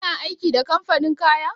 Kana aiki da kamfanin kaya?